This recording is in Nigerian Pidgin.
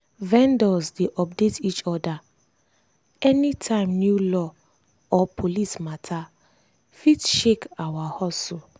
vendors dey update each other anytime new law or police matter fit shake our hustle.